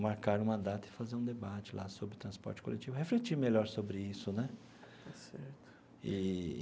marcar uma data e fazer um debate lá sobre o transporte coletivo, refletir melhor sobre isso, né? Está certo. Eee.